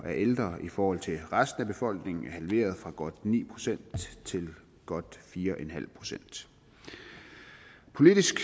ældre i forhold til resten af befolkningen er halveret fra godt ni procent til godt fire en halv procent politisk